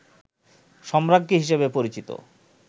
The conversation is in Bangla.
সম্রাজ্ঞী হিসেবে পরিচিত